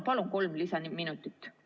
Palun kolm lisaminutit!